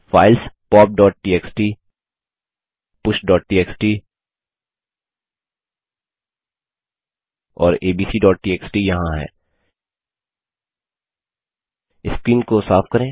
files poptxtpushटीएक्सटी और abcटीएक्सटी यहाँ हैं स्क्रीन को साफ करें